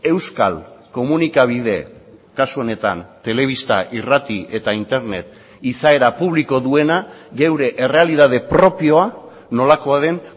euskal komunikabide kasu honetan telebista irrati eta internet izaera publiko duena geure errealitate propioa nolakoa den